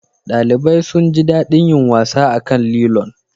ɗalibai sun ji daɗin yin wasa akan lilon